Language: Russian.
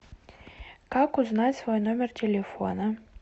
как узнать свой номер телефона